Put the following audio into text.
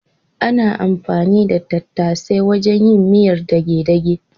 Ana anfani da tattasai wajen yin miyar dage-dage.